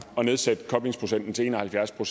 at nedsætte koblingsprocenten til en og halvfjerds og